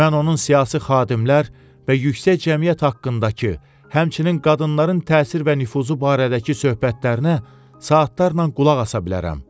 Mən onun siyasi xadimlər və yüksək cəmiyyət haqqındakı, həmçinin qadınların təsir və nüfuzu barədəki söhbətlərinə saatlarla qulaq asa bilərəm.